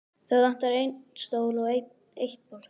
Það vantar einn stól og eitt borð.